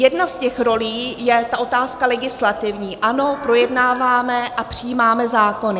Jedna z těch rolí je ta otázka legislativní, ano, projednáváme a přijímáme zákony.